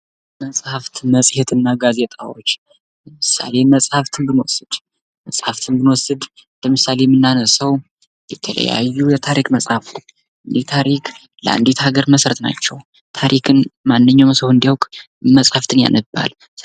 መጽሃፍት መሄትና ጋዜጣዎች ለምሳሌ መጽሐፍትን ብንወስድ ለምሳሌ የምናነሳው የተለያዩ የታሪክ መጽሐፍ ይህ ታሪክ ለአንዲት ሀገር መሰረት ናቸው። ታሪክን ማንኛውም ሰው እንዲያውቅ መጽሐፍን ያነባል።